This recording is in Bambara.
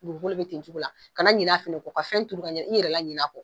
Dugukolo be ten cogo la ka na ɲinɛ a fɛnɛ kɔ ka fɛn turu ka ɲɛnɛ ka i yɛrɛ la ɲinɛ a kɔ